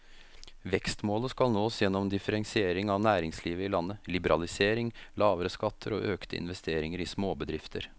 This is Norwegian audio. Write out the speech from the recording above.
Vekstmålet skal nås gjennom differensiering av næringslivet i landet, liberalisering, lavere skatter og økte investeringer i småbedrifter.